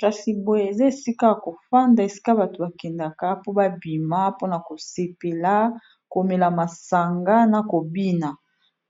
Kasi boye eza esika ya kofanda esika bato bakendaka po babima pona kosepela komela masanga na kobina